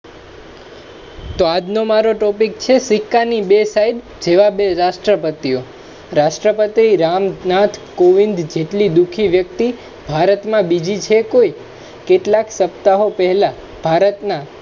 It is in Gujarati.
તો આજનો મારો Topic છે, સિકકાની બે side જેવા બે રાષ્ટ્રપતિઓ. રાષ્ટ્રપતિ રામનાથ કોવિંદ જેટલી દુખી વ્યક્તિ ભારતમા બીજી છે કોઈ. કેટલાય સપ્તાહઓ પહેલા ભારતના